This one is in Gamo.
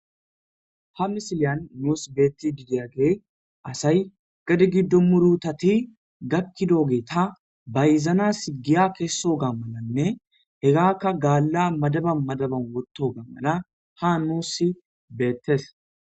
Ha misiliyan nus betidi diyagey asay gadse gido murutati gakidogeta bayzanaw giya kesoga malanne hegaka galla madabiyan madabiyan wothogey ha nus beetes.